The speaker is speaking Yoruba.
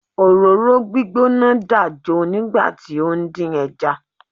Òróró gbígbóná dàjo nígbà tí ó ń dín ẹja.